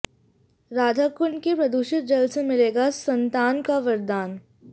राधाकुंड के प्रदूषित जल से मिलेगा संतान का वरदान